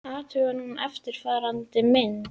Athugum núna eftirfarandi mynd: